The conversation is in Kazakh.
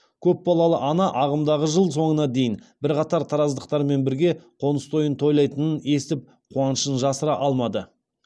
көпбалалы ана ағымдағы жыл соңына дейін бірқатар тараздықтармен бірге қоныс тойын тойлайтынын естіп қуанышын жасыра алмады